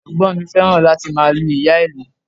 Ẹ̀gbọ́n mi fẹ́ràn láti máa lu ìyá-ìlù